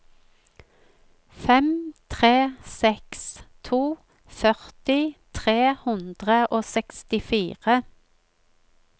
fem tre seks to førti tre hundre og sekstifire